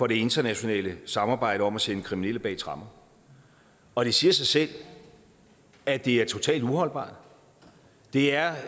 det internationale samarbejde om at sende kriminelle bag tremmer og det siger sig selv at det er totalt uholdbart det er